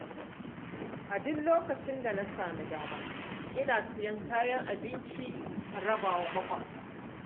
A duk lokacin da na sami dama ina Siyan kayan abinci in rabawa mabuƙata.